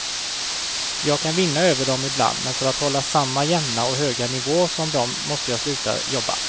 Jag kan vinna över dem ibland, men för att hålla samma jämna och höga nivå som de måste jag sluta jobba.